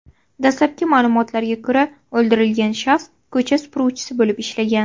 Dastlabki ma’lumotlarga ko‘ra, o‘ldirilgan shaxs ko‘cha supuruvchi bo‘lib ishlagan.